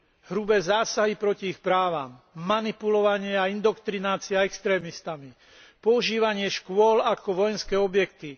Hrubé zásahy proti ich právam, manipulovanie a indoktrinácia extrémistami, používanie škôl ako vojenské objekty.